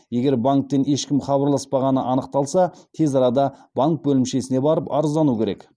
егер банктен ешкім хабарласпағаны анықталса тез арада банк бөлімшесіне барып арыздану керек